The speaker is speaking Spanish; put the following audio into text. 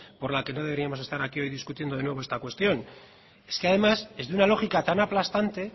por la que no deberíamos estar aquí hoy discutiendo de nuevo esta cuestión es que además es de una lógica tan aplastante